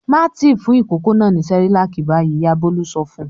"Má tì fún ìkókó náà ní Cerelac báyìí!" Ìyá Bólú sọ fún un.